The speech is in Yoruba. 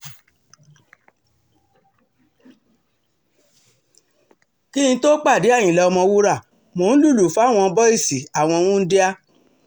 kí n tóó pàdé àyìnlá ọ̀mọ̀wúrà mò ń lùlù fáwọn bọ́ìsì àwọn wúńdíá